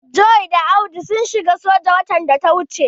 John da Audu sun shiga soja watan da ya wuce.